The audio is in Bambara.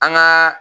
An gaa